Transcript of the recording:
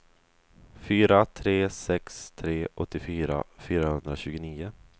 fyra tre sex tre åttiofyra fyrahundratjugonio